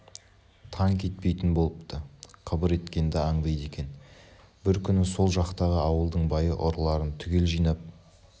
тан кетпейтін болыпты қыбыр еткенді аңдиды екен бір күні сол жақтағы ауылдың байы ұрыларын түгел жинап